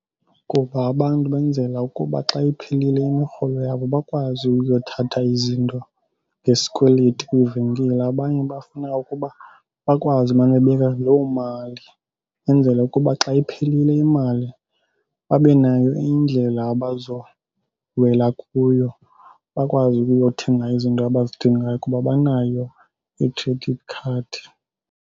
Kuba abantu benzela ukuba xa iphelile imirholo yabo bakwazi ukuyothatha izinto ngesikweleti kwiivenkile. Abanye bafuna ukuba bakwazi umane bebeka loo mali ukwenzela ukuba xa iphelile imali babe nayo indlela abazowela kuyo. Bakwazi ukuyothenga izinto abazidingayo kuba banayo i-credit card.